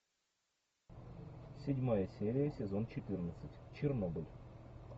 седьмая серия сезон четырнадцать чернобыль